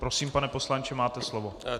Prosím, pane poslanče, máte slovo.